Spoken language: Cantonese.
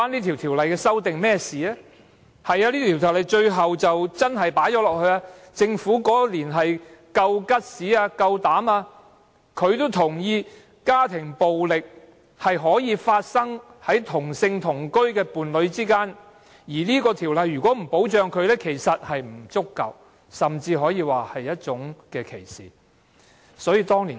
條例最終真的加入了這一項，政府當年有膽量這樣做，認同家庭暴力可以發生在同性同居伴侶之間，若這條例不予以保障，對他們的保障不足，甚至可說歧視他們。